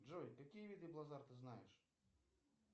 джой какие виды блазар ты знаешь